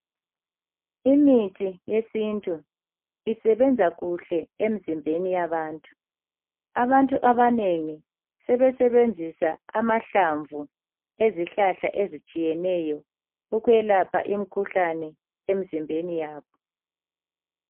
Imithi yesintu isebenza kuhle emzimbeni yabantu. Abantu abanengi sebesebenzisa amahlamvu ezihlahla ezitshiyeneyo ukwelapha imikhuhlane emzimbeni yabo.